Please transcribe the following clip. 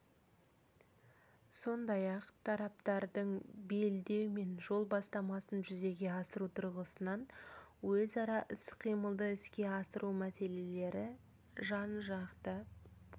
сондай-ақ тараптардың белдеу мен жол бастамасын жүзеге асыру тұрғысынан өзара іс-қимылды іске асыру мәселелері жан-жақты